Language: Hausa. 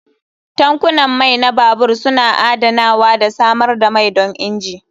Tankunan mai na babur suna adanawa da samar da mai don injin.